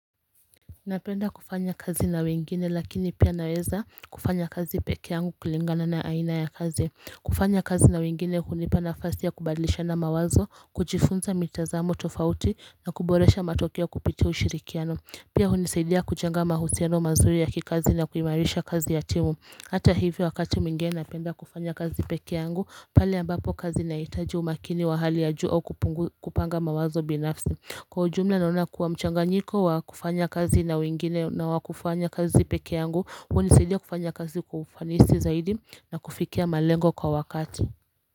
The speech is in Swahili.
Napenda kufanya kazi na wengine lakini pia naweza kufanya kazi peke yangu kulingana na aina ya kazi. Kufanya kazi na wengine hunipa nafasi ya kubadlishana mawazo, kujifunza mitazamo tofauti na kuboresha matokeo kupitia ushirikiano. Pia hunisaidia kujenga mahusiano mazuri ya kikazi na kuimarisha kazi ya timu. Hata hivyo wakati mwingine napenda kufanya kazi peke yangu pale ambapo kazi inaitaji umakini wa hali ya juu kupanga mawazo binafsi. Kwa ujumla naona kuwa mchanganyiko wa kufanya kazi na wengine na wa kufanya kazi peke yangu hunisaidia kufanya kazi kwa ufanisi zaidi na kufikia malengo kwa wakati.